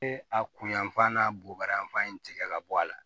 E a kun yanfan n'a bubaranfan in tigɛ ka bɔ a la